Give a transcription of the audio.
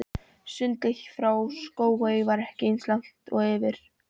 Sundið frá Skógey var ekki eins langt og yfir